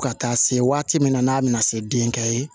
Fo ka taa se waati min na n'a bɛna se denkɛ ye